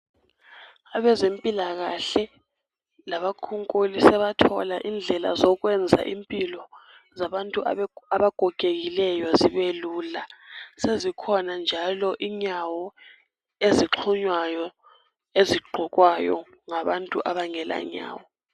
Abezempilakahle labakhunkuli sebathola indlela zokwenza impilo zabantu abagogekileyo zibe lula sezikhona njalo inyawo ezixhunywayo, ezigqokwayo ngabantu abangela nyawo.